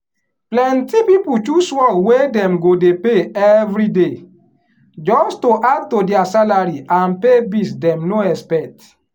plenty people choose work wey dem go dey pay everyday just to add to dia salary and pay bills dem no expect.